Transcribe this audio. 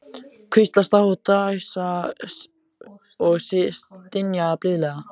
Hvíslast á og dæsa og stynja blíðlega.